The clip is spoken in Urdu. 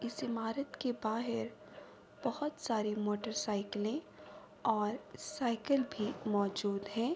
اس امارات کے بہار بھوت سارے موٹر سائیکلے اور سائیکل بھی موزود ہے۔